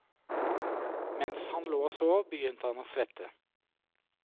Mens han lå og sov, begynte han å svette.